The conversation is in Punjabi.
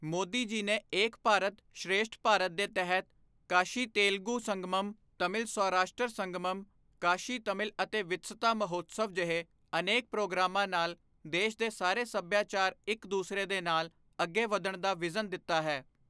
ਮੋਦੀ ਜੀ ਨੇ ਏਕ ਭਾਰਤ, ਸ਼੍ਰੇਸ਼ਠ ਭਾਰਤ ਦੇ ਤਹਿਤ ਕਾਸ਼ੀ ਤੇਲਗੁ ਸੰਗਮਮ, ਤਮਿਲ ਸੌਰਾਸ਼ਟਰ ਸੰਗਮਮ, ਕਾਸ਼ੀ ਤਮਿਲ ਅਤੇ ਵਿਤਸਤਾ ਮਹੋਤਸਵ ਜਿਹੇ ਅਨੇਕ ਪ੍ਰੋਗਰਾਮਾਂ ਨਾਲ ਦੇਸ਼ ਦੇ ਸਾਰੇ ਸੱਭਿਆਚਾਰ ਇੱਕ ਦੂਸਰੇ ਦੇ ਨਾਲ ਅੱਗੇ ਵਧਣ ਦਾ ਵਿਜ਼ਨ ਦਿੱਤਾ ਹੈ।